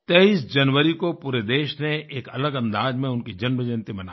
23 जनवरी को पूरे देश ने एक अलग अंदाज में उनकी जन्म जयन्ती मनाई